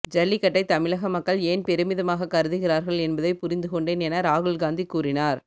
ஜல்லிக்கட்டை தமிழக மக்கள் ஏன் பெருமிதமாக கருதுகிறார்கள் என்பதை புரிந்துகொண்டேன் என ராகுல்காந்தி கூறினார்